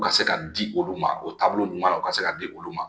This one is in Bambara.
U ka se ka di olu ma o taabolo ɲuman na u ka se ka di olu ma